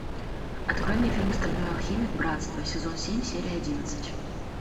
открой мне фильм стальной алхимик братство сезон семь серия одиннадцать